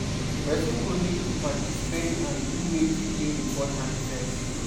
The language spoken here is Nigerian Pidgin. Person go need to pripritize and do wetin dey important first